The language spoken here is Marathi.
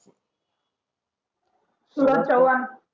सुरज चव्हाण